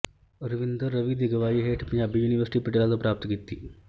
ਰਵਿੰਦਰ ਰਵੀ ਦੀ ਅਗਵਾਈ ਹੇਠ ਪੰਜਾਬੀ ਯੂਨੀਵਰਸਿਟੀ ਪਟਿਆਲਾ ਤੋਂ ਪ੍ਰਾਪਤ ਕੀਤੀ